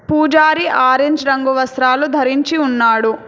పూజారి ఆరేంజ్ రంగు వస్త్రాలు ధరించి ఉన్నాడు.